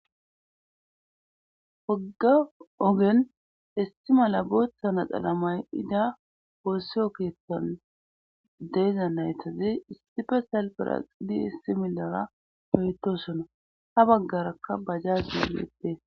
Wogga ogen issi malla booththa naxala mayida wossiyo keettan de'iza naytazi issife salfera di issi milera oytosona ha baggarakka bajjajey bettees